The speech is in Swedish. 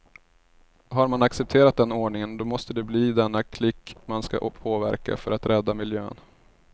Har man accepterat den ordningen, då måste det bli denna klick man ska påverka för att rädda miljön.